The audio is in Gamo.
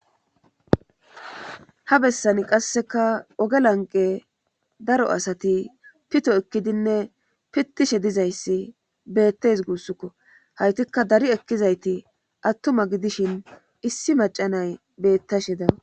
ha bessani qasseka oge lanqe daro asati pito ekkidinne pittishe dizayssi beettes guussukko haytikka dari ekkizayti attuma gidishin issi macanay beettashe dawus